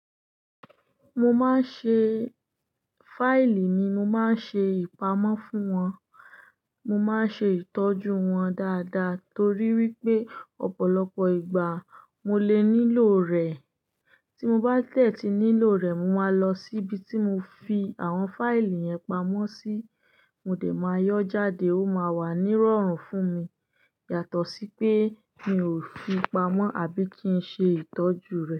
Mo ma ń ṣe fáìlì mi, mo má ń ṣe ìpamọ́ fún wọn, mo ma ń ṣe ìtọ́jú wọn dáadáa torí wípé ọ̀pọ̀lọpọ̀ ìgbà mo lè nílò rẹ̀. Tí mo bá dè ti nílò rẹ̀, mo máa lọ sí ibi tí mo fi àwọn fáìlì yẹn pamọ́ sí, mo dè máa yọ jáde ó máa wà nírọ̀rùn fún mi yàtọ̀ sí pé mi ò fi pamọ́ àbí kí n ṣe ìtọ́jú rẹ̀.